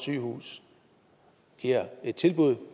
giver et tilbud